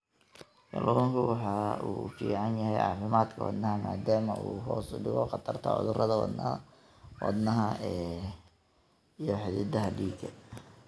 Kalluunku waxa uu u fiican yahay caafimaadka wadnaha maadaama uu hoos u dhigo khatarta cudurrada wadnaha iyo xididdada dhiigga.